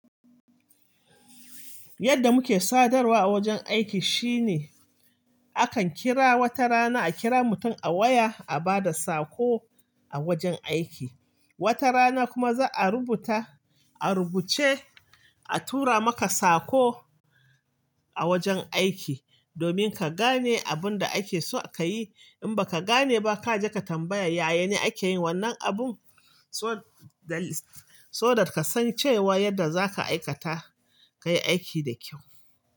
Yadda muke sadarwa a wajen aiki shine, akan kira wata rana a kira mutum a waya a bada sako a wajen aiki. Wata rana kuma za'a rubuta, a rubuce a tura maka sako a wajen aiki, domin ka gane abun da ake so a ka yi. In baka gane ba kaje ka tambaya, "yaya ne ake yin wannan abun?" So-- dalis-- so da ka san cewa yadda za ka aikata ka yi aiki da kyau.